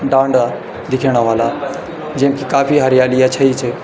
डांडा दिखेणा ह्वाला जख कि काफी हरियालीया छई च।